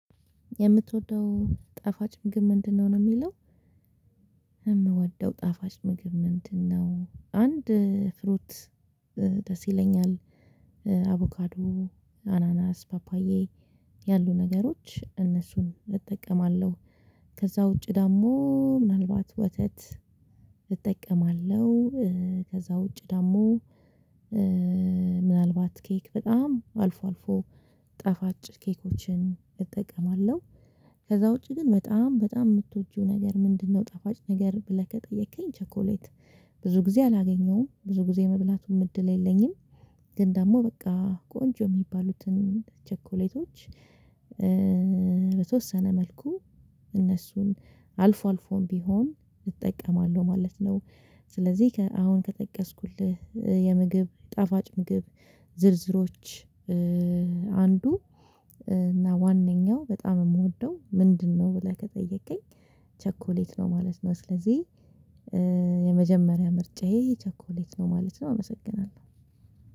የምትወደው ጣፋጭ ምግብ ምንድነው? ነው የሚለው እኔ የምወደው ጣፋጭ ምግብ ምንድነው? አንድ ፍሩት ደስ ይለኛል። አቮካዶ፤ አናናስ፤ ፓፓዬ፤ ያሉ ነገሮች እነሱን እጠቀማለሁ። ከዛ ውጪ ደግሞ ምናልባት ወተት እጠቀማለሁ። ከዛ ውጪ ደግሞ ኬክ በጣም አልፎ አልፎ ጣፋጭ ኬኮችን እጠቀማለሁ። ውጪ ግን በጣም በጣም የምትወጂው ነገር ምንድነው? ጠፋጭ ነገር ብለህ ከጠየከኝ ቸኮሌት። ብዙ ጊዜ አላገኘሁም ብዙ ጊዜ የመብላቱም እድል የለኝም። ግን ደግሞ በቃ ቆንጆ የሚባሉትን ቸኮሌቶች፤ በተወሰነ መልኩ እነሱን አልፎ አልፎም ቢሆን እጠቀማለሁ ማለት ነው። ስለዚህ አሁን ከጠቀስኩልህ የምግብ ጣፋጭ ምግብ ዝርዝሮች፤ አንዱ እና ዋንኛው በጣም የምወደው ምንድነው? ብለህ ከጠየከኝ ቸኮሌት ነው ማለት ነው፤ ስለዚህ የመጀመሪያ ምርጫዬ ቸኮሌት ነው ማለት ነው አመሰግናለሁ።